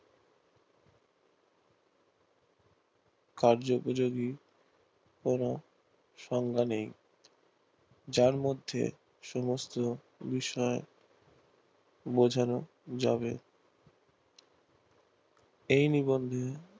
কার্যউপযোগী কোনো সংজ্ঞা নেই যার মধ্যে সমস্ত বিষয় বোঝানো যাবে এই নিবন্ধি